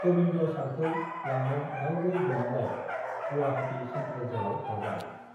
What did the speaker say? गबिन्द सारखौ लांनो रावबो गैयिलाय गुवाहाटी सेन्ट्रेल जेलआव हरबाय